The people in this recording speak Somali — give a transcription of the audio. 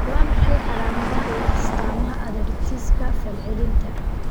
Waa maxay calaamadaha iyo astaamaha arthritis-ka falcelinta?